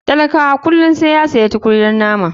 Talakawa kullum saiya sayi tukunyar mama.